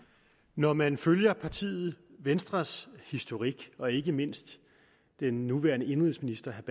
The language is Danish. når man følger partiet venstres historik og ikke mindst den nuværende indenrigsministers